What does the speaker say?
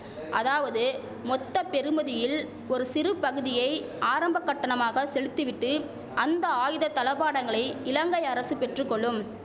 அதாவது மொத்த பெறுமதியில் ஒரு சிறு பகுதியை ஆரம்ப கட்டணமாக செலுத்திவிட்டு அந்த ஆயுத தளபாடங்களை இலங்கை அரசு பெற்றுகொள்ளும்